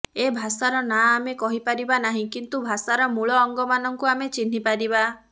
ଏ ଭାଷାର ନାଁ ଆମେ କହିପାରିବା ନାହିଁ କିନ୍ତୁ ଭାଷାର ମୂଳ ଅଙ୍ଗମାନଙ୍କୁ ଆମେ ଚିହ୍ନିପାରିବା